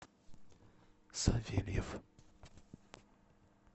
савельев